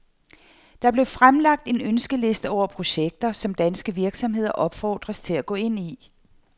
Der blev fremlagt en ønskeliste over projekter, som danske virksomheder opfordres til at gå ind i.